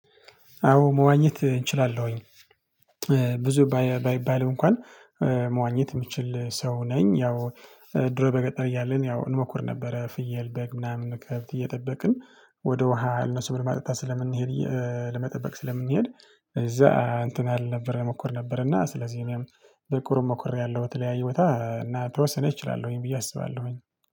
አዎ መዋኘት እችላለሁኝ ብዙ ባይባልም እንኳን መዋኘት የምችል ሰው ነኝ። ያው ድሮ በገጠር እያለን ያው እንሞክር ነበረ ፍየል በግ ምናምን ከብት እየጠበቅን ወደ ውሃ እነሱን ለማጠጣት ስለምንሄድ ለመጠበቅ ስለምንሄድ። እዛ እንትን አልነበረም እሞክር ነበርና ስለዚህ እኔም በቁርም ሞክሬያለሁ። በተለያዩ ቦታ እና ተወሰነ እችላለሁኝ ብዬ አስባለሁኝ።